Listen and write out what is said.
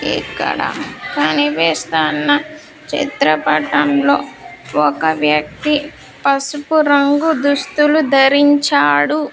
ఇక్కడ కనిపిస్తున్న చిత్రపటంలో ఒక వ్యక్తి పసుపు రంగు దుస్తులు ధరించాడు.